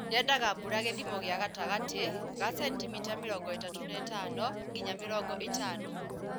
Yendaga mbura gĩthimo kĩa gatagatĩ ga centimita mĩrongo ĩtatu na ĩtano nginya mĩrongo ĩtano.